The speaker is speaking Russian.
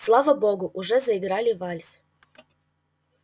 слава богу уже заиграли вальс